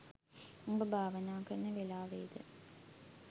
උඹ භාවනා කරන වෙලාවෙ ද